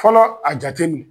Fɔlɔ a jatem